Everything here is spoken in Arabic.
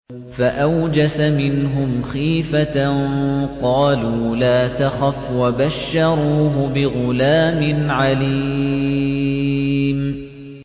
فَأَوْجَسَ مِنْهُمْ خِيفَةً ۖ قَالُوا لَا تَخَفْ ۖ وَبَشَّرُوهُ بِغُلَامٍ عَلِيمٍ